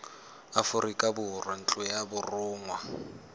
aforika borwa ntlo ya borongwa